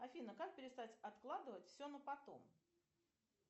афина как перестать откладывать все на потом